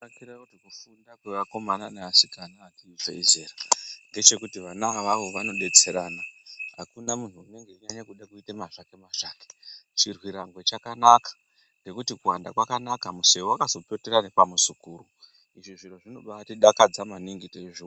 Kufunda kweva vakomana nevasikana vachizevezera Vana avavo vanenge vachibatsirana akuna munhu anenge achida kuita mazvake mazvake chirwerango chakanaka nekut Kuwanda kwakanaka museve wakazopotera nepamuzukuru Izvo zviro zvino batidakadza maningi tichizviona.